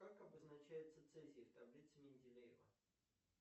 как обозначается цезий в таблице менделеева